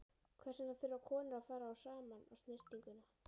Hvers vegna þurfa konur að fara saman á snyrtinguna?